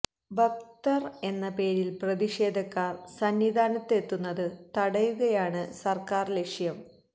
ഭക്തര് എന്ന പേരില് പ്രതിഷേധക്കാര് സന്നിധാനത്തു എത്തുന്നത് തടയുകയാണ് സര്ക്കാര് ലക്ഷ്യം